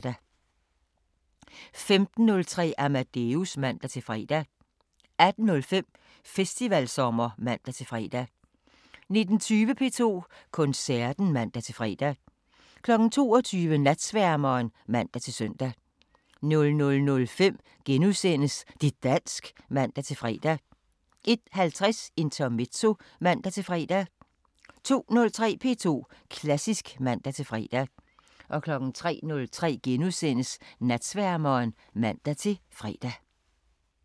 15:03: Amadeus (man-fre) 18:05: Festivalsommer (man-fre) 19:20: P2 Koncerten (man-fre) 22:00: Natsværmeren (man-søn) 00:05: Det' dansk *(man-fre) 01:50: Intermezzo (man-fre) 02:03: P2 Klassisk (man-fre) 03:03: Natsværmeren *(man-fre)